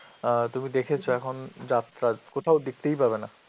অ্যাঁ তুমি দেখেছো এখন যাত্রা, কোথাও দেখতেই পাবে না.